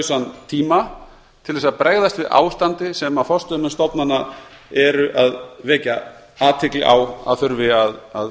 takmarkalausan tíma til að bregðast við ástandi sem forstöðumenn stofnana eru að vekja athygli á að þurfi athygli að